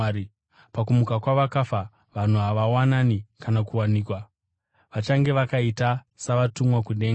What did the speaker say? Pakumuka kwavakafa vanhu havawani kana kuwanikwa, vachange vakaita savatumwa kudenga.